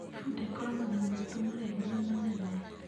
Bunda ĩkoragwo na matũ maraihu na manene.